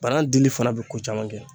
Bana dili fana bɛ ko caman kɛ